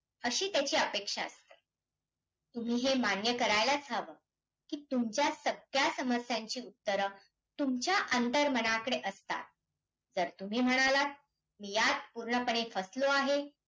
अ सरकारी हस्तक्षेप आपण पाहू शकत नाही.